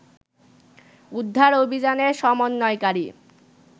উদ্ধার অভিযানের সমন্বয়কারী